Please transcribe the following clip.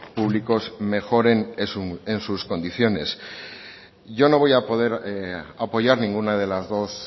públicos mejoren en sus condiciones yo no voy a poder apoyar ninguna de las dos